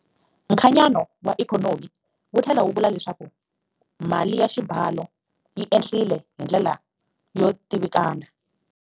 Nkhanyano wa ikhonomi wu tlhela wu vula leswaku mali ya xibalo yi ehlile hi ndlela yo tivikana.